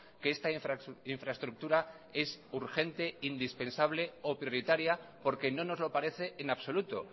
que esta infraestructura es urgente indispensable o prioritaria porque no nos lo parece en absoluto